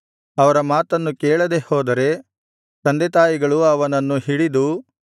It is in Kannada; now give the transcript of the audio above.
ಅವರ ಮಾತನ್ನು ಕೇಳದೆಹೋದರೆ ತಂದೆತಾಯಿಗಳು ಅವನನ್ನು ಹಿಡಿದು